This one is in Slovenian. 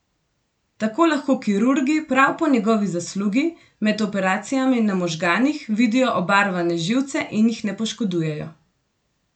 Tako lahko kirurgi prav po njegovi zaslugi med operacijami na možganih vidijo obarvane živce in jih ne poškodujejo.